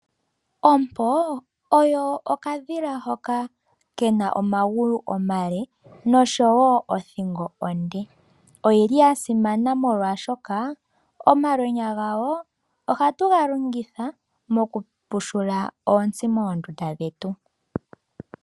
Ompo oyo okadhila hoka ke na omagulu omale noshowo othingo onde. Oya simana molwaashoka omalwenya gako ohatu ga longitha mokupushula oontsi moondunda dhetu.